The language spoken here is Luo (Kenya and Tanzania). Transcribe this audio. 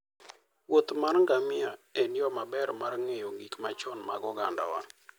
wuoth mar ngamia en yo maber mar ng'eyo gik machon mag ogandawa.